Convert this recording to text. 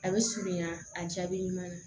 A bɛ surunya a jaabi ɲuman na